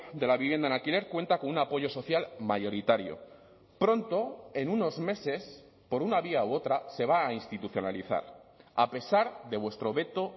de la vivienda en alquiler cuenta con un apoyo social mayoritario pronto en unos meses por una vía u otra se va aa institucionalizar a pesar de vuestro veto